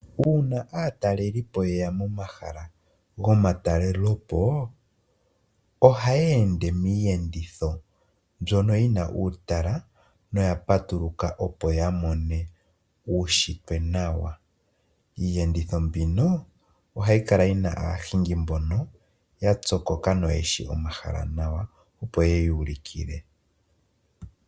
Uuna aatalelipo ye ya momahala gomatalelepo oha yeende miiyenditho mbyono yi na uutala noya patuluka opo ya mone uushitwe nawa. Iiyenditho mbino oha yi kala yi na aahingi mbono ya pyokoka noyeshi omahala nawa opo ye yuulukile.